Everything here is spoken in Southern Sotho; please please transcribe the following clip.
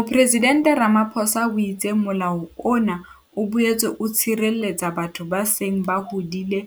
Mopresidente Ramaphosa o itse Molao ona o boetse o tshireletsa batho ba seng ba hodile